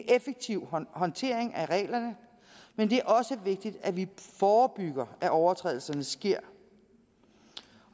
effektiv håndtering af reglerne men det er også vigtigt at vi forebygger at overtrædelserne sker